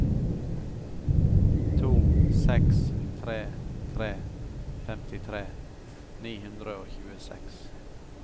to seks tre tre femtitre ni hundre og tjueseks